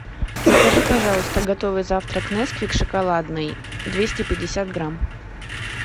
закажи пожалуйста готовый завтрак несквик шоколадный двести пятьдесят грамм